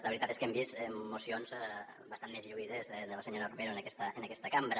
la veritat és que hem vist mo·cions bastant més lluïdes de la senyora romero en aquesta cambra